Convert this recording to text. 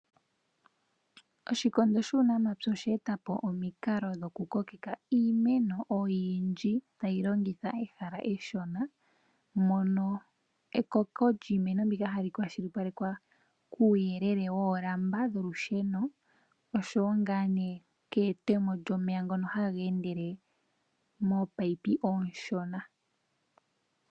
Oshikondo shuunamapya oshe e ta po omikalo dhoku kokeka iimeno oyindji tayi longitha ehala eshona, mono ekoko lyiimaliwa hali kwashilipalekwa kuuyelele woolamba dholusheno oshowo ngaa nee keete mo lyomeya ngono haga endele mominino ominshona.